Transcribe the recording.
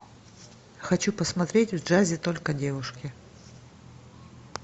хочу посмотреть в джазе только девушки